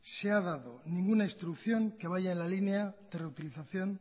se ha dado ninguna instrucción que vaya en la línea de reutilización